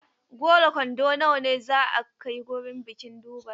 Goro kwando nawa ne za a kai wurin bikin Durbar?